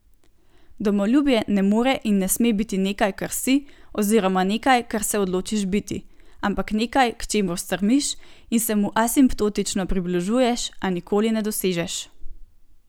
Domoljubje ne more in ne sme biti nekaj, kar si, oziroma nekaj, kar se odločiš biti, ampak nekaj, k čemur stremiš in se mu asimptotično približuješ, a nikoli ne dosežeš.